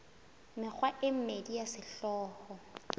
mekgwa e mmedi ya sehlooho